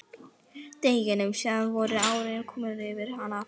Deginum síðar voru árin komin yfir hana aftur.